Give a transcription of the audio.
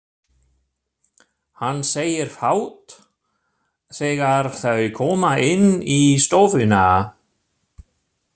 Hann segir fátt þegar þau koma inn í stofuna.